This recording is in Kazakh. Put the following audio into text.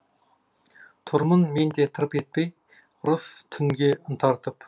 тұрмын мен де тырп етпей ырыс түнге ынта артып